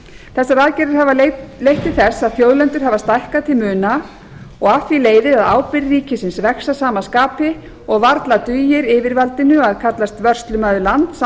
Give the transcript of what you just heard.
þessar aðgerðir hafa leitt til þess að þjóðlendur hafa stækkað til muna og af því leiðir að ábyrgð ríkisins vex að sama skapi og varla dugir yfirvaldinu að kallast vörslumaður lands án þess